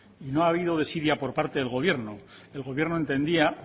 no ha habido desidia por parte del gobierno el gobierno entendía